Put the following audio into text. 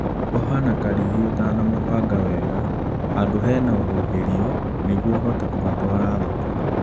Oha na karigi ũtanamabanga wega handũ hena huhĩrio nĩguo ũhote kũmatwara thoko